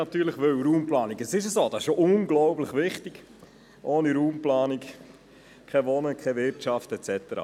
Denn die Raumplanung ist ein unglaublich wichtiges Thema – ohne Raumplanung keine Möglichkeit zu wohnen, keine Wirtschaft und so weiter.